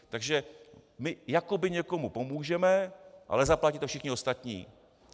Takže my jakoby někomu pomůžeme, ale zaplatí to všichni ostatní.